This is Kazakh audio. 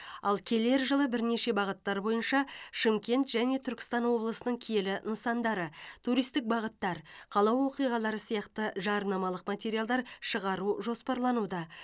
ал келер жылы бірнеше бағыттар бойынша шымкент және түркістан облысының киелі нысандары туристік бағыттар қала оқиғалары сияқты жарнамалық материалдар шығару жоспарлануда